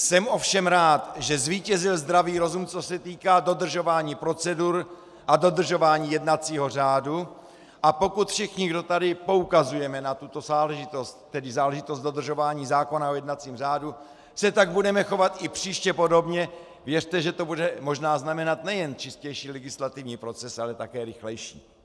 Jsem ovšem rád, že zvítězil zdravý rozum, co se týká dodržování procedur a dodržování jednacího řádu, a pokud všichni, kdo tady poukazujeme na tuto záležitost, tedy záležitost dodržování zákona o jednacím řádu, se tak budeme chovat i příště podobně, věřte, že to bude možná znamenat nejen čistější legislativní proces, ale také rychlejší.